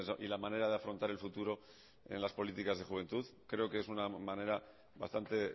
y la manera de afrontar el futuro en las políticas de juventud creo que es una manera bastante